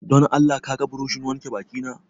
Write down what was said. Don Allah ka ga burushin wanke baki na